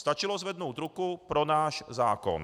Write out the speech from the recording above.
Stačilo zvednout ruku pro náš zákon.